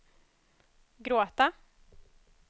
gråta